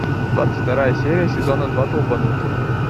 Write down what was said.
двадцать вторая серия сезона два долбанутые